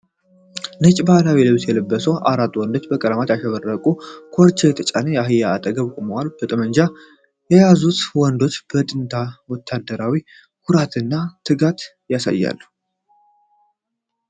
ነጭ ባህላዊ ልብስ የለበሱ አራት ወንዶች በቀለማት ያሸበረቀ ኮርቻ የተጫነ አህያ አጠገብ ቆመዋል። ጠመንጃ የያዙት ወንዶች የጥንት ወታደራዊ ኩራትን እና ትጋትን ያሳያሉ።